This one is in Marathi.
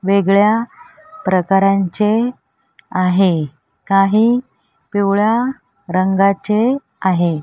वेगळ्या प्रकारांचे आहे काही पिवळ्या रंगाचे आहे.